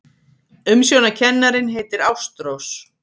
Umsjónarkennarinn heitir Ástrós.